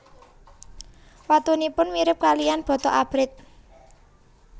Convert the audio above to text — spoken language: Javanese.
Watunipun mirip kaliyan bata abrit